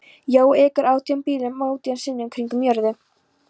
Jói ekur átján bílum átján sinnum kringum jörðu.